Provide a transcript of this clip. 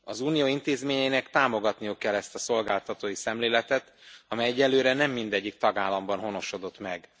Az Unió intézményeinek támogatniuk kell ezt a szolgáltatói szemléletet, amely egyelőre nem mindegyik tagállamban honosodott meg.